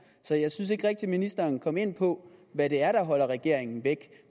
så jeg synes ikke rigtig at ministeren kom ind på hvad det er der holder regeringen væk